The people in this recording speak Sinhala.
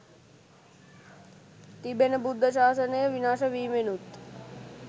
තිබෙන බුද්ධ ශාසනය විනාශ වීමෙනුත්